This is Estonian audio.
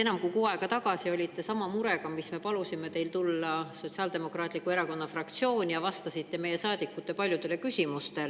Enam kui kuu aega tagasi olite te sama murega seoses palutud Sotsiaaldemokraatliku Erakonna fraktsiooni, kus te vastasite meie saadikute paljudele küsimustele.